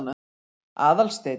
Aðalsteinn